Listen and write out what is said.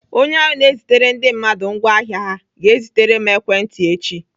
Onye ahụ na-ezitere ndị mmadụ ngwaahịa ha ga-ewetere m ekwentị echi.